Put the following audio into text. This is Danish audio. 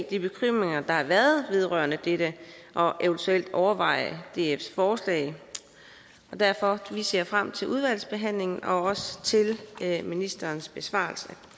de bekymringer der har været vedrørende dette og eventuelt overveje dfs forslag vi ser frem til udvalgsbehandlingen og også til ministerens besvarelse